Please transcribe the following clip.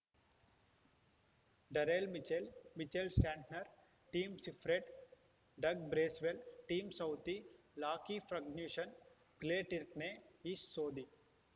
Daryl Mitchell Mitchell Santner Tim Seifert Doug Bracewell Tim Southee Lockie Ferguson Blair Tickner Ish Sodhi